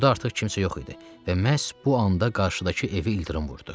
Burada artıq kimsə yox idi və məhz bu anda qarşıdakı evi ildırım vurdu.